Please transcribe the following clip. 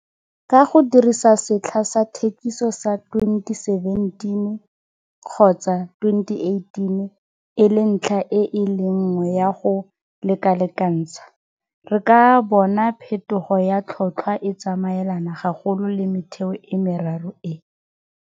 Ka go dirisa setlha sa thekiso sa 2017 kgotsa 2018 e le ntlha e le nngwe ya go lekalekantsha, re ka bona phethogo ya tlhotlhwa e tsamaelana gagolo le metheo e meraro e.